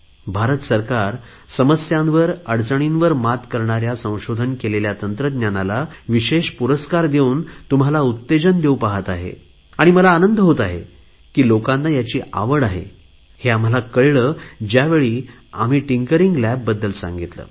भारत सरकार समस्यांवर अडचणीवर मात करणाऱ्या संशोधन केलेल्या टेक्नॉलॉजीला विशेष पुरस्कार देऊन तुम्हाला प्रोत्साहन देऊ पहात आहे आणि मला आनंद होत आहे की लोकांना याची आवड आहे हे आम्हाला कळले ज्यावेळी आम्ही टिंकरिंग लॅब्स बद्दल सांगितले